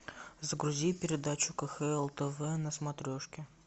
загрузи передачу кхл тв на смотрешке